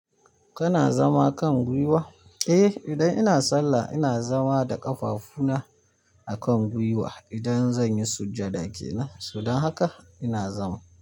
Kana zama kan gwiwa? Eh idan ina sallah ina zama da ƙafafuna a kan gwiwa. Idan zan yi sujjada kenan, so don haka ina zama.